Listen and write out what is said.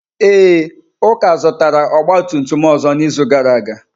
Ee, Uka zụtara ọgba tum tum ọzọ n'izu gara aga.